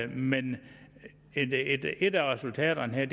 men et af resultaterne her